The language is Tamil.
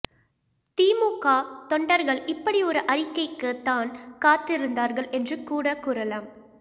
திமுக தொண்டர்கள் இப்படி ஒரு அறிக்கைக்குத்தான் காத்து இருந்தார்கள் என்று கூட கூறலாம்